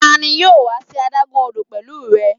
Tani yoo wa si adagun odo pẹlu rẹ?